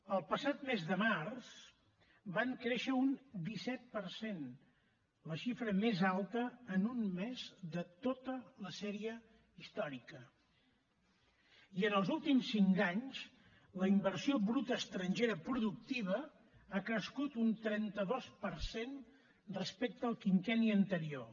el passat mes de març van créixer un disset per cent la xifra més alta en un mes de tota la sèrie històrica i en els últims cinc anys la inversió bruta estrangera productiva ha crescut un trenta dos per cent respecte al quinquenni anterior